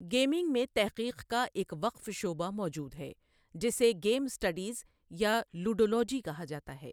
Gaming میں تحقیق کا ایک وقف شعبہ موجود ہے جسے گیم اسٹڈیز یا لوڈولوجی کہا جاتا ہے۔